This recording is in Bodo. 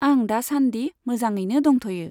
आं दासानदि मोजाोङैनो दंथ'यो।